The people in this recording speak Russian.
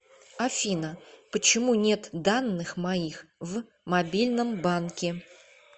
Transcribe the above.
афина почему нет данных моих в мобильном банке